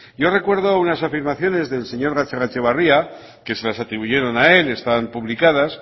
yo recuerdo unas afirmaciones del señor gatzagaetxebarria que se las atribuyeron a él están publicadas